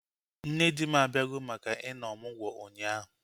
Nne di m abịago maka ị nọ ọmụgwọ ụnyaahụ